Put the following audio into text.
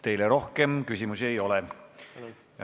Teile rohkem küsimusi ei ole.